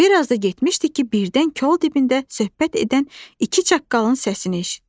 Bir az da getmişdi ki, birdən kol dibində söhbət edən iki çaqqalın səsini eşitdi.